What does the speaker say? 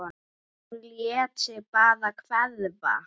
Hún lét sig bara hverfa.